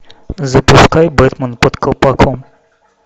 запускай бэтмен под колпаком